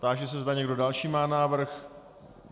Táži se, zda někdo další má návrh.